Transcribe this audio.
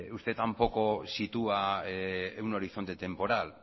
usted tampoco sitúa un horizonte temporal